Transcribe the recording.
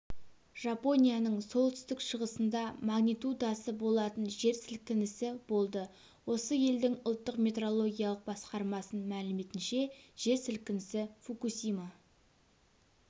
жапонияның солтүстік-шығысында магнитудасы болатын жер сілкінісі болды осы елдің ұлттық метрологиялық басқармасының мәліметінше жер сілкінісі фукусима